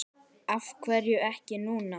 Af hverju ekki núna?